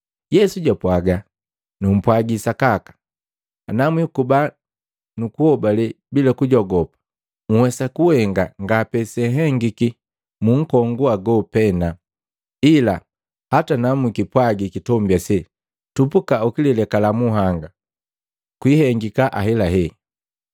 Yesu jwapwaga, “Numpwagi sakaka, ana mwikuba ni lihobale bila lujogopu, unhuwesa kuhenga nga pe seehengiki mu nkongu ago pena, ila hata na mukipwagi kitombi ase, ‘Tupuka ulilekala munhanga,’ kwiihengika ahelahela.